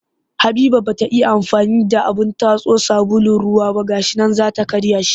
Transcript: Habiba ba ita ya amfani da abin tatso sabulun ruwa ba ga shi nan za ta karya shi